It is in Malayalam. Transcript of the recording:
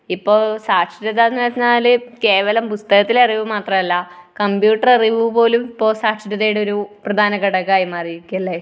ഇപ്പോൾ സാക്ഷരത എന്ന് പറഞ്ഞാൽ കേവലം പുസ്തകത്തിലെ അറിവ് മാത്രമല്ല, കമ്പ്യൂട്ടർ അറിവുപോലും ഇപ്പോൾ സാക്ഷരതയുടെ ഒരു പ്രധാനഘടകമായി മാറിയിരിക്കുകയാ അല്ലെ?